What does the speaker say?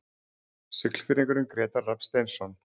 Siglfirðingurinn Grétar Rafn Steinsson